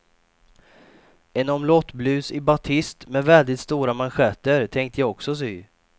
En omlottblus i batist med väldigt stora manschetter tänkte jag också sy.